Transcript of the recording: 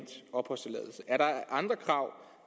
og